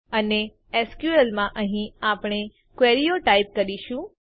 અને એસક્યુએલ માં અહીં આપણે ક્વેરીઓ ટાઈપ કરીશું